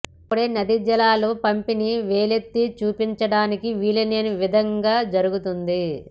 అప్పుడే నదీ జలాల పంపిణీ వేలెత్తి చూపించడానికి వీలు లేని విధంగా జరుగుతుంది